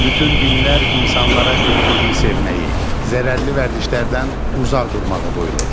Bütün dinlər insanlara bir-birini sevməyi, zərərli vərdişlərdən uzaq durmağı buyurur.